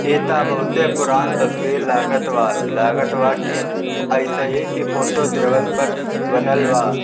एता बहुते पुरान तस्वीर लागत बा लागत बा की अईसही की फोटो देवल पर बनल बा।